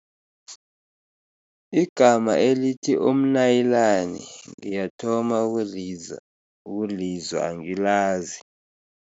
Igama elithi umnayilani ngiyathoma ukulizwa ukulizwa, angilazi.